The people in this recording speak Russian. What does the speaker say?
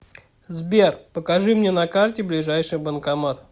сбер покажи мне на карте ближайший банкомат